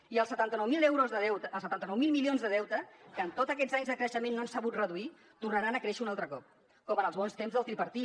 i els setanta nou mil milions de deute que en tots aquests anys de creixement no han sabut reduir tornaran a créixer un altre cop com en els bons temps del tripartit